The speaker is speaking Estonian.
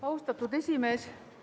Austatud esimees!